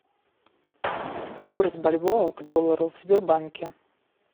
курс бальбоа к доллару в сбербанке